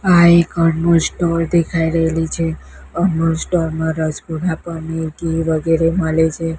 આ એક અનમોલ સ્ટોર દેખાય રહેલી છે અનમોલ સ્ટોર માં રસગુલ્લા પનીર ઘી વગેરે મળે છે.